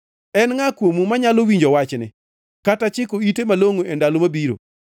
En ngʼa kuomu manyalo winjo wachni kata chiko ite malongʼo e ndalo mabiro?